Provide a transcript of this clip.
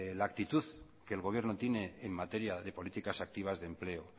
la actitud que el gobierno tiene en materia de políticas activas de empleo